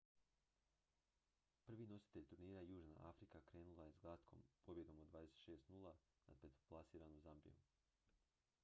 prvi nositelj turnira južna afrika krenula je s glatkom pobjedom od 26:00 nad petoplasiranom zambijom